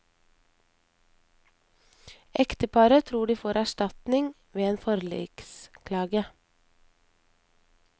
Ekteparet tror de får erstatning ved en forliksklage.